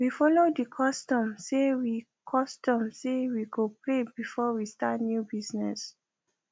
we follow the custom say we custom say we go pray before we start new business